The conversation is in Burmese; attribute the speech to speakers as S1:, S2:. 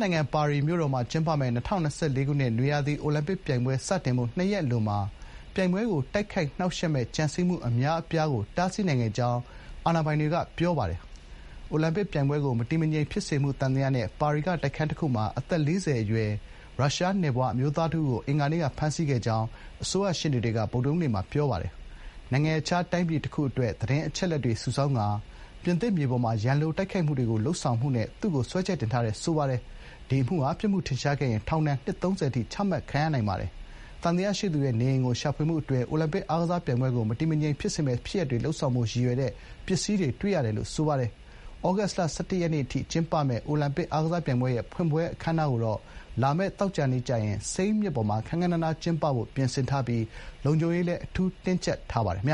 S1: နိုင်ငံ၊ ပါရီမြို့တော်မှာ ကျင်းပမယ့် ၂၀၂၄ ခုနှစ် နွေရာသီ အိုလံပစ်ပြိုင်ပွဲစတင်ဖို့ နှစ်ရက်အလိုမှာ ပြိုင်ပွဲကို တိုက်ခိုက်နှောင့်ယှက်မယ့် ကြံစည်မှုအများအပြားကို တားဆီးနိုင်ခဲ့ကြောင်း အာဏာပိုင်တွေကပြောပါတယ်။ အိုလံပစ်အားကစားပြိုင်ပွဲကို မတည်မငြိမ်ဖြစ်စေဖို့ စီစဉ်မှုသံသယနဲ့ ပါရီမြို့တော်ကတိုက်ခန်းတခုမှာ အသက် ၄၀ အရွယ် ရုရှားနွယ်ဖွား အမျိုးသားတဦးကို အင်္ဂါနေ့က ဖမ်းဆီးခဲ့ကြောင်း ပါရီအစိုးရရှေ့နေတွေက ဗုဒ္ဓဟူးနေ့က ပြောပါတယ်။ နိုင်ငံခြား တိုင်းပြည်တခုအတွက် သတင်းအချက်အလက်တွေ စုဆောင်းကာ ပြင်သစ်မြေပေါ်မှာ ရန်လိုတိုက်ခိုက်မှုတွေ လုပ်ဆောင်မှုနဲ့ သူ့ကို စွဲချက်တင်ထားတယ်လို့ ဆိုပါတယ်။ ဒီအမှုဟာ ပြစ်မှုထင်ရှားခဲ့ရင် ထောင်ဒဏ် နှစ် ၃၀ အထိ ချမှတ်ခံရနိုင်ပါတယ်။ သံသယရှိသူရဲ့ နေအိမ်ကို ရှာဖွေမှုအတွင်း “အိုလံပစ်အားကစားပြိုင်ပွဲကို မတည်မငြိမ်ဖြစ်စေမယ့်ဖြစ်ရပ်တွေ လုပ်ဆောင်ဖို့ ရည်ရွယ်တဲ့ ပစ္စည်းတွေတွေ့ခဲ့ရတယ်” လို့ အစိုးရရှေ့နေတွေက ပြောပါတယ်။ ဩဂုတ်လ ၁၁ ရက်နေ့အထိကျင်းပမယ့် အိုလံပစ် အားကစားပြိုင်ပွဲရဲ့ ဖွင့်ပွဲအခမ်းအနားကို လာမယ့် သောကြာနေ့ကျရင် စိန်းမြစ်ပေါ်မှာ ခမ်းခမ်းနားနားကျင်းပဖို့ ပြင်ဆင်ထားပြီး လုံခြုံရေးလည်း အထူး တင်းကျပ်ထားပါတယ်။ ပြင်